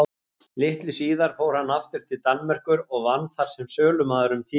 Litlu síðar fór hann aftur til Danmerkur og vann þar sem sölumaður um tíma.